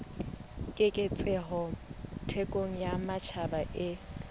keketseho thekong ya matjhaba e